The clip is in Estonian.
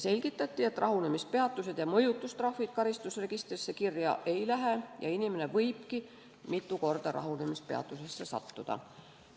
Selgitati, et rahunemispeatused ja mõjutustrahvid karistusregistrisse kirja ei lähe, inimene võibki mitu korda rahunemispeatusesse sattuda.